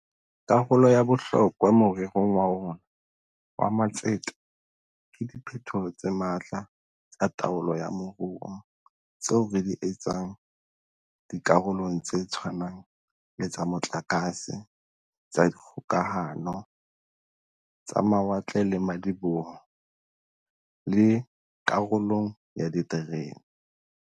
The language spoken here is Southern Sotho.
Karolo ya bohlokwa more rong wa rona wa matsete ke diphetoho tse matla tsa taolo ya moruo tseo re di etsang di karolong tse tshwanang le tsa motlakase, tsa dikgokahano, tsa mawatle le madiboho, le karolong ya diterene.